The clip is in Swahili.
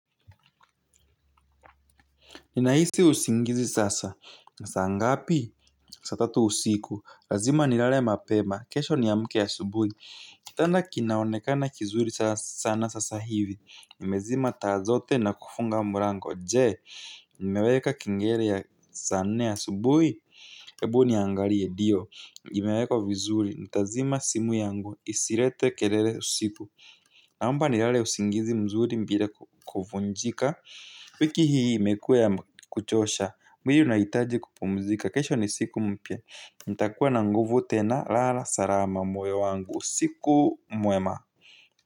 Ninahisi usingizi sasa. Na saa ngapi? Saa tatu usiku. Lazima nilale mapema. Kesho niamke asubuhi. Kitanda kinaonekana kizuri sana sasa hivi. Nimezima taa zote na kufunga mlango. Jee, nimeweka kengele ya saa nne ya asubuhi? Ebu niangalie, ndio nimeweka vizuri. Ntazima simu yangu. Isilete keleleusiku. Naomba nilale usingizi mzuri bila kuvunjika. Wiki hii imekuwa ya kuchosha mwili unahitaji kupumzika kesho ni siku mpya nitakuwa na nguvu tena lala salama moyo wangu usiku mwema.